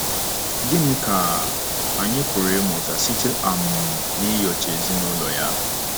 Gịnị ka anyị pụrụ ịmụta site um n'inyocha ezinụlọ ya?